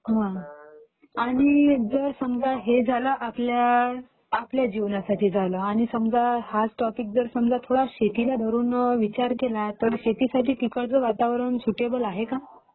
आणि समजा हे झालं आपल्या आपल्या जीवनासाठी झालं, आणि समजा हा टॉपिक जर समजा थोडा शेतीला धरून विचार केला तर शेतीसाठी तिकडचं वातावरण सुटेबल आहे का?